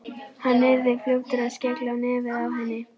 Hann yrði fljótur að skella á nefið á henni.